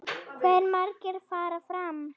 Hve margir fara fram?